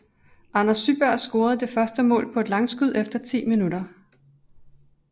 Anders Syberg scorede det første mål på et langskud efter 10 min